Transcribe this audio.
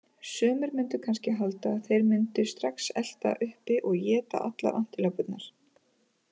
Sumir mundu kannski halda að þeir mundu strax elta uppi og éta allar antilópurnar.